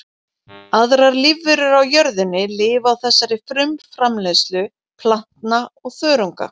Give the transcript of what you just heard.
Aðrar lífverur á jörðinni lifa á þessari frumframleiðslu plantna og þörunga.